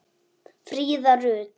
Fríða Rut.